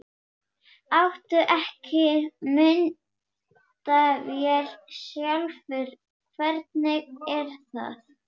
Áttu ekki myndavél sjálfur, hvernig er það?